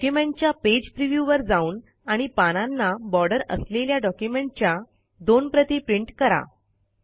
डॉक्युमेंटच्या page preview वर जाऊन आणि पानांना बॉर्डर असलेल्या डॉक्युमेंटच्या दोन प्रति प्रिंट करा